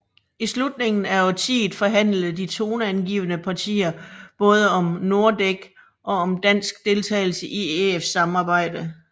I slutningen af årtiet forhandlede de toneangivende partier både om Nordek og om dansk deltagelse i EF samarbejdet